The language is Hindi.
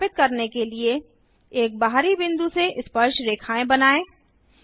सत्यापित करने के लिए एक बाहरी बिंदु से स्पर्शरेखाएँ बनाएँ